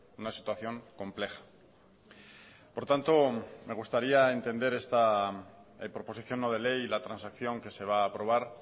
una situación compleja por tanto me gustaría entender esta proposición no de ley y la transacción que se va a aprobar